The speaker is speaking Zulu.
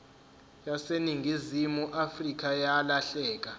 yaseningizimu afrika yalahleka